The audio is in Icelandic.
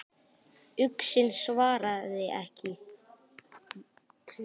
Uxinn svaraði ekki.